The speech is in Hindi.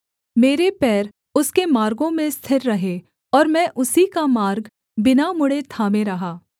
मेरे पैर उसके मार्गों में स्थिर रहे और मैं उसी का मार्ग बिना मुड़ें थामे रहा